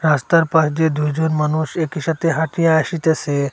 রাস্তার পাশ দিয়ে দুইজন মানুষ একই সাথে হাঁটিয়া আসিতেসে।